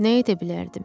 Nə edə bilərdim?